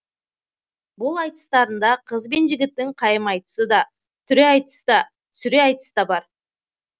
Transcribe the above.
бұл айтыстарында қыз бен жігіттің қайым айтысы да түре айтыс та сүре айтыс та бар